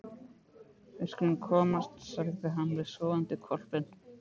Við skulum komast, sagði hann við sofandi hvolpinn.